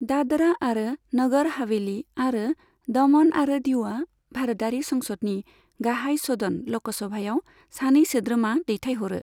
दादरा आरो नगर हावेली आरो दमन आरो दीउआ भारतारि संसदनि गाहाय सदन ल'क सभायाव सानै सोद्रोमा दैथायहरो।